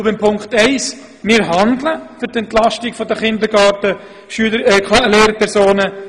Zu Punkt 1: Wir tun bereits etwas für die Entlastung der KindergartenLehrpersonen.